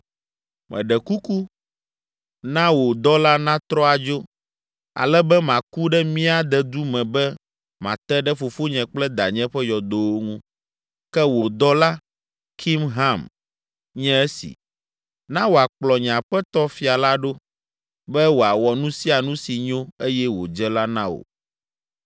Meɖe kuku, na wò dɔla natrɔ adzo, ale be maku ɖe mía dedu me be mate ɖe fofonye kple danye ƒe yɔdowo ŋu. Ke wò dɔla, Kimham, nye esi; na wòakplɔ nye aƒetɔ fia la ɖo, be wòawɔ nu sia nu si nyo eye wòdze la na wò.”